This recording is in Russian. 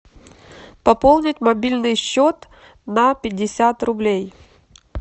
пополнить мобильный счет на пятьдесят рублей